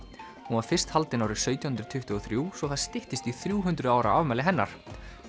hún var fyrst haldin árið sautján hundruð tuttugu og þrjú svo það styttist í þrjú hundruð ára afmæli hennar